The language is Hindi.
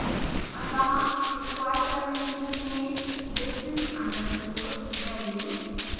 अतः square parentheses में distance underscore values